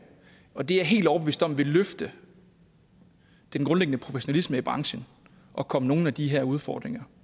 det er jeg helt overbevist om vil løfte den grundlæggende professionalisme i branchen og komme nogle af de her udfordringer